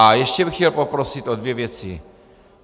A ještě bych chtěl poprosit o dvě věci.